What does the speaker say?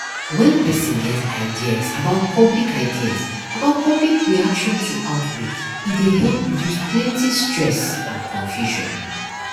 when person get ideas about public ideas about public reaction to outbreak e dey help reduce plenty stress and confusion